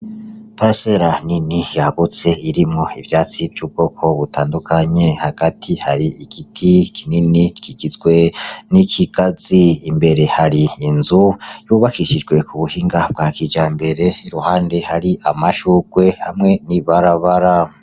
Parisera nini yagutse irimwo ivyatsi vy'ubwoko butandukanye. Hagati hari igiti kinini kigizwe n'ikigazi, imbere hari inzu yubakishijwe ku buhinga bwa kijambere, iruhande hari amashurwe hamwe n'ibarabara.